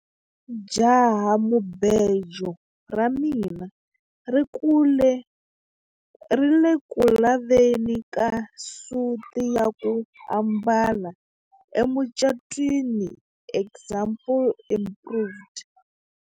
Jahamubejo ra mina ri ku le ku laveni ka suti ya ku ambala emucatwini example improved.